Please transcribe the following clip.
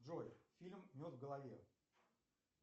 джой фильм в голове